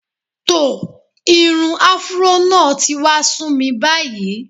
Tò, irun afuró náà ti wá sú mi báyìí.